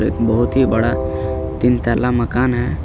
एक बहुत ही बड़ा तीन तल्ला मकान है।